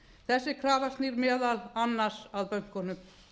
þessi krafa snýr meðal annars að bönkunum